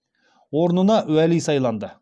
орнына уәли сайланды